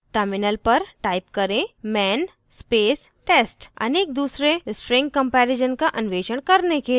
terminal पर type करें man space test अनेक दूसरे string कम्पैरिसन का अन्वेषण करने के लिए